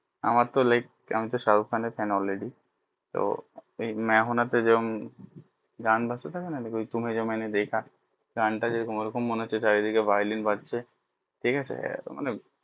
আমার তো large আমি তো শাহরুক খান fan already তো মে হু না তে যেমন গান বাজতে থাকে না তুমে যো মেনে দেখা গান টা যেমন ওই রকম মনে হচ্ছে চারিদিকে violin বাজছে ঠিক আছে মানে